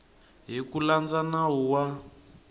hi ku landza nawu wa